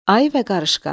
Ayı və qarışqa.